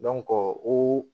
o